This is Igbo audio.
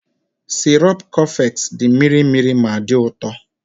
sirop coffex dị mịrị mịrị ma dị ụtọ